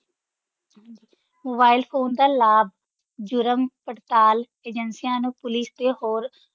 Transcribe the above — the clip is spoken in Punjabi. Mobile phone ਦਾ ਲਾਭ ਜੁਰਮ-ਪੜਤਾਲ ਏਜੰਸੀਆਂ ਨੂੰ, ਪੁਲਿਸ ਤੇ ਹੋਰ